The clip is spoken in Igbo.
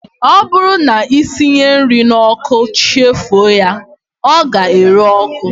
Ọ bụrụ na ị siwe nri n'ọkụ chefuo ya, ọ ga-ere ọkụ